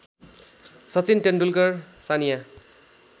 Sachin Tendulkar Sania